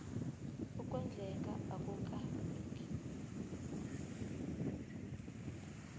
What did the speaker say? ukondleka akula lungi